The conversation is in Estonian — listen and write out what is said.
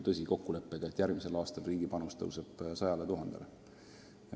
Oli kokkulepe, et järgmisel aastal kasvab riigi panus 100 000 euroni.